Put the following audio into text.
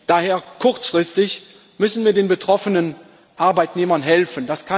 Daher Kurzfristig müssen wir den betroffenen Arbeitnehmern helfen.